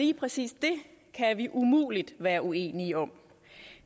lige præcis det kan vi umuligt være uenige om